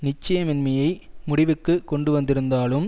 நிச்சயமின்மையை முடிவுக்கு கொண்டுவந்திருந்தாலும்